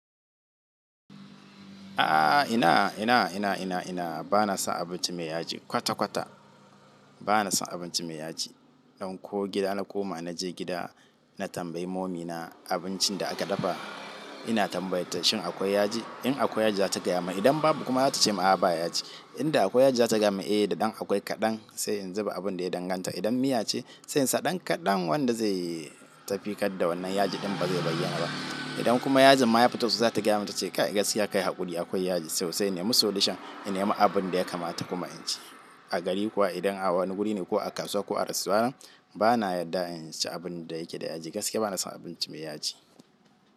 Ah ina, ina, ina, ina, ina, bana son abinci mai yaji kwata-kwata bana son abinci mai yaji. Dan ko gida na koma naje gida, na tambayi mommy na abincin da aka dafa, ina tambayota shin akwai yaji? In akwai yaji zata gaya mun idan babu kuma zata ce a'a ba yaji. In da akwai yaji zata gaya mun eh da ɗan akwai kaɗan sai in zuba abun da ya danganta. Idan miya ce, sai in sa ɗan kaɗan wanda zai tafi kad da wannan yaji ɗin ba zai bayyana ba. Idan kuma yajin ma yafito za ta gaya mun cewa kai gaskiya kai haƙuri akwai yaji sosai. Nemi solution, inema abun da ya kamata kuma in ci. A gari kuwa idan a wani guri ne ko a kasuwa ko a restaurant bana yarda in ci abun da yake da yaji gaskiya bana son abinci mai yaji.